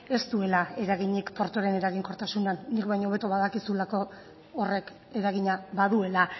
ez duela eraginik portuaren eraginkortasunean nik baino hobeto badakizulako horrek eragina baduela